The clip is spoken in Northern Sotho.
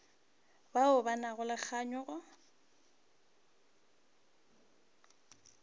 bao ba nago le kganyogo